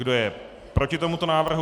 Kdo je proti tomuto návrhu?